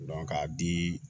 k'a di